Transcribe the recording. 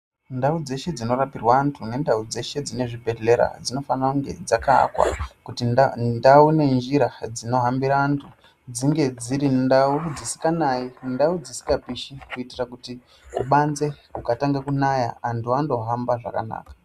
Ndau dzeshe dzino rapirwa antu ne ndau dzeshe dzine zvibhedhlera dzino fanira kunge dzaka akwa kuti ndau ne njira dzino hambire antu dzinge dziri ndau dzisinga nayi ndau dzisinga pishi kuitire kuti kubanze kuka tange kunaya antu ando hamba zvakanaka.